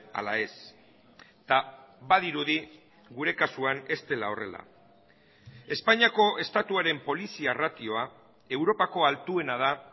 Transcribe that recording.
ala ez eta badirudi gure kasuan ez dela horrela espainiako estatuaren polizia ratioa europako altuena da